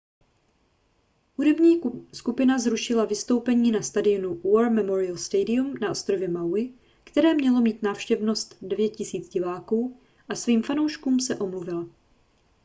hudební skupina zrušila vystoupení na stadionu war memorial stadium na ostrově maui které mělo mít návštěvnost 9 000 diváků a svým fanouškům se omluvila